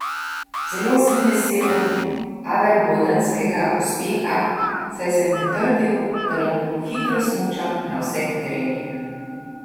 Zelo sem vesel adelbodenskega uspeha, saj sem potrdil, da lahko hitro smučam na vseh terenih.